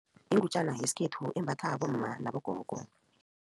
Ingutjana ngesikhethu imbatha bomma nabogogo.